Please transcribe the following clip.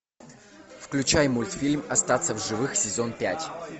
включай мультфильм остаться в живых сезон пять